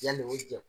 Yanni o cɛ